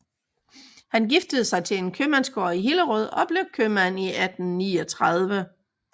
Han giftede sig til en købmandsgård i Hillerød og blev købmand i 1839